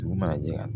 Dugu mana jɛ